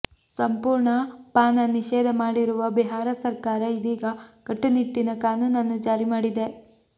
ಸಂಪೂರ್ಣ ಪಾನ ನಿಷೇಧ ಮಾಡಿರುವ ಬಿಹಾರ ಸರ್ಕಾರ ಇದೀಗ ಕಟ್ಟುನಿಟ್ಟಿನ ಕಾನೂನನ್ನು ಜಾರಿ ಮಾಡಿದೆ